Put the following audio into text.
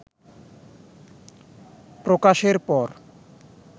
প্রকাশের পর